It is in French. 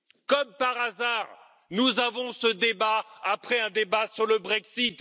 Comme par hasard, nous avons ce débat après un débat sur le Brexit.